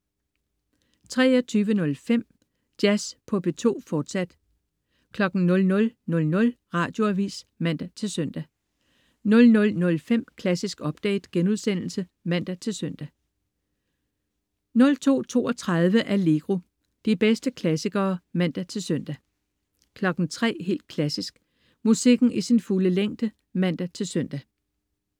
23.05 Jazz på P2, fortsat 00.00 Radioavis (man-søn) 00.05 Klassisk update* (man-søn) 02.32 Allegro. De bedste klassikere (man-søn) 03.00 Helt Klassisk. Musikken i sin fulde længde (man-søn)